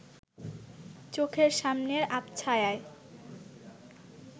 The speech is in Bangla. চোখের সামনের আবছায়ায়